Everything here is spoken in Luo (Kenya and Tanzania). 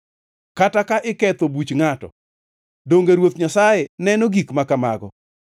kata ka iketho buch ngʼato, donge Ruoth Nyasaye neno gik ma kamago?